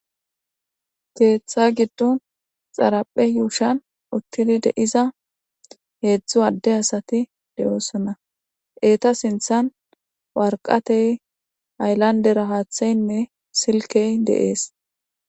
Keththa gidon xaraphe yuushon utid de7iza hezhu ade asat de7osona. Eta sinththan wariqatey hayilanidera haththayine silikey de7es.